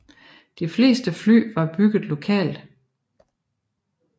De fleste fly var bygget lokalt